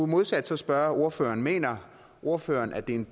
modsat spørge ordføreren mener ordføreren at det er